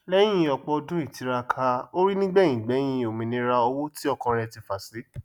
lẹyìn ọpọ ọdún ìtiraka orí nígbẹyìngbẹyín òmìníra owó tí ọkàn rẹ tí fà sí